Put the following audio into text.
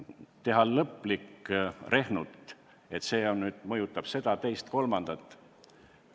Teha lõplik rehnut, et see mõjutab seda, teist ja kolmandat?